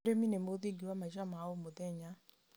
ũrĩmi nĩ mũthingi wa maica ma o mũthenya.